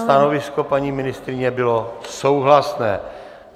Stanovisko paní ministryně bylo souhlasné.